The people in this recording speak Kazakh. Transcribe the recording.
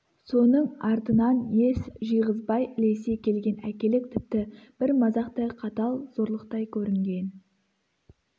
соның артынан ес жиғызбай ілесе келген әкелік тіпті бір мазақтай қатал зорлықтай көрінген